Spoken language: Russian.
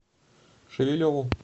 шевелеву